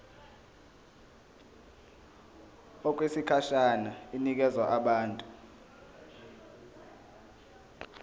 okwesikhashana inikezwa abantu